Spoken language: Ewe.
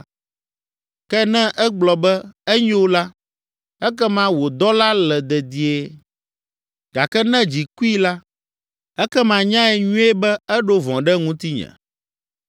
Ke ne egblɔ be, ‘Enyo’ la, ekema wò dɔla le dedie. Gake ne dzi kui la, ekema nyae nyuie be eɖo vɔ̃ ɖe ŋutinye.